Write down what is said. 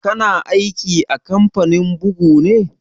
Ka na aiki a kamfanin bugu ne?